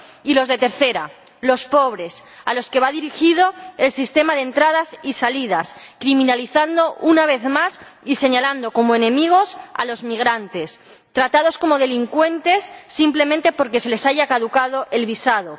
y los de tercera, los pobres, a los que va dirigido el sistema de entradas y salidas, criminalizando, una vez más, y señalando como enemigos a los migrantes, tratados como delincuentes simplemente porque se les haya caducado el visado.